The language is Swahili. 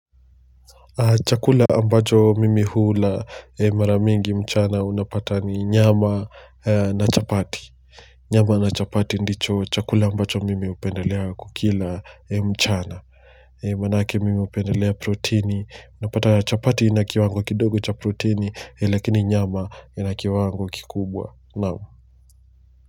Chakula ambacho mimi hula mara mingi mchana unapata ni nyama na chapati. Nyama na chapati ndicho chakula ambacho mimi hupendelea kukila mchana. Manake mimi hupendelea protini. Unapata chapati ina kiwango kidogo cha protini, lakini nyama ina kiwango kikubwa, naam.